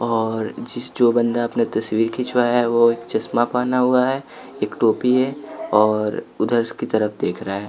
और जिस जो बंदा अपना तस्वीर खिंचवाया है वो एक चश्मा पहना हुआ है एक टोपी है और उधर की तरफ देख रहा है।